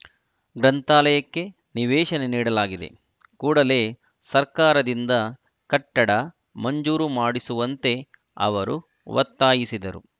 ಗ್ರಂಥಾಲಯಕ್ಕೆ ನಿವೇಶನ ನೀಡಲಾಗಿದೆ ಕೂಡಲೇ ಸರ್ಕಾರದಿಂದ ಕಟ್ಟಡ ಮಂಜೂರು ಮಾಡಿಸುವಂತೆ ಅವರು ಒತ್ತಾಯಿಸಿದರು